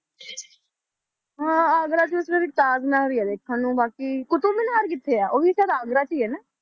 ਹਾਂ ਆਗਰਾ 'ਚ ਸਿਰਫ਼ ਇੱਕ ਤਾਜ਼ ਮਹਿਲ ਹੀ ਦੇਖਣ ਨੂੰ ਬਾਕੀ, ਕੁਤਬ ਮਿਨਾਰ ਕਿੱਥੇ ਆ, ਉਹ ਵੀ ਸ਼ਾਇਦ ਆਗਰਾ 'ਚ ਹੀ ਹੈ ਨਾ,